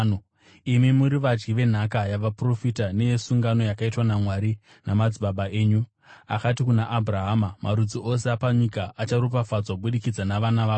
Imi muri vadyi venhaka yavaprofita neyesungano yakaitwa naMwari namadzibaba enyu. Akati kuna Abhurahama, ‘Marudzi ose apanyika acharopafadzwa kubudikidza navana vako.’